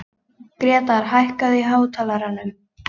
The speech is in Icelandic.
Grétar, hækkaðu í hátalaranum.